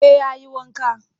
Eh ya yi wanka